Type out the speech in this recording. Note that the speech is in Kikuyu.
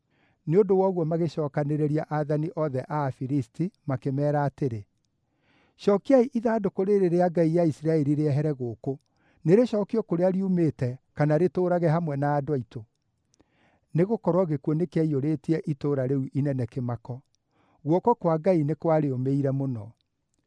Nĩ ũndũ wa ũguo magĩcookanĩrĩria aathani othe a Afilisti makĩmeera atĩrĩ, “Cookiai ithandũkũ rĩĩrĩ rĩa ngai ya Isiraeli rĩehere gũkũ; nĩrĩcookio kũrĩa riumĩte kana rĩtũũrage hamwe na andũ aitũ.” Nĩgũkorwo gĩkuũ nĩkĩaiyũrĩtie itũũra rĩu inene kĩmako; guoko kwa Ngai nĩ kwarĩũmĩire mũno.